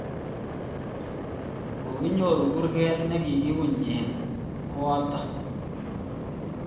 kokinyor kurget ne kiunye eng kot notok